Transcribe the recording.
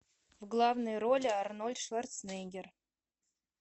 в главной роли арнольд шварценеггер